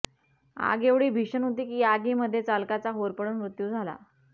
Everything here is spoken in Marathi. आग एवढी भीषण होती की या आगीमध्ये चालकाचा होरपळून मृत्यू झाला